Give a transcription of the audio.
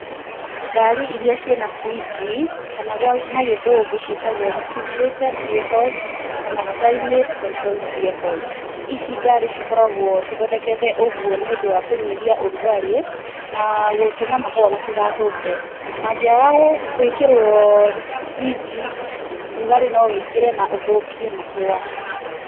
Ngari irĩa ciĩ na birinji kana na gĩthũngũ ciĩtagwo refrigerated vehicles kana climate controlled vehicles ici ngari cikoragwo cithondeketwo ũguo nĩ ũndũ wa kũnyihia ũrugarĩ, na gũtũma mahũa matigathũke, mangĩaga gũĩkĩrwo birinji rugarĩ no wĩingĩre na ũthũkie mahũa.